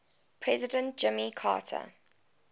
president jimmy carter